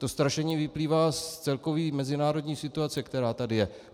To strašení vyplývá z celkové mezinárodní situace, která tady je.